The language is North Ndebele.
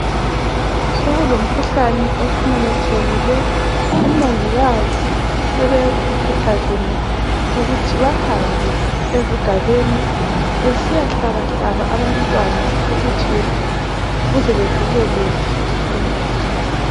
Sokulomkhuhlane osumemethekile , omongikazi sebekhuthazene ukuthi behambe ezigabeni besiyahlabahlaba abantwana ukuthi beze bevikeleke ngomkhuhlane